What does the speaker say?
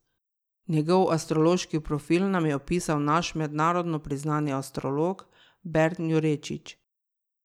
Njegov astrološki profil nam je opisal naš mednarodno priznani astrolog Bern Jurečič.